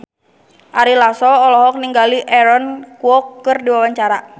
Ari Lasso olohok ningali Aaron Kwok keur diwawancara